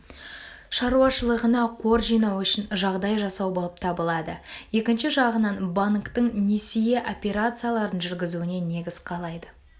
шаруашылығына қор жинау үшін жағдай жасау болып табылады екінші жағынан банктің несие операцияларын жүргізуіне негіз қалайды